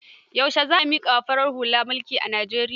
Yaushe za a miƙa wa farar hula mulki a Nijeriya?